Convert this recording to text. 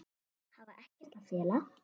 Hafa ekkert að fela.